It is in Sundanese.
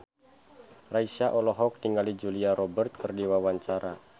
Raisa olohok ningali Julia Robert keur diwawancara